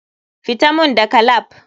FITA mun dagan lap.